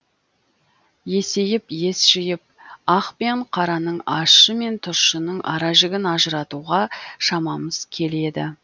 есейіп ес жиып ақ пен қараның ащы мен тұщының ара жігін ажыратуға шамамыз келеді